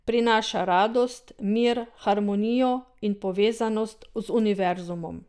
Prinaša radost, mir, harmonijo in povezanost z univerzumom.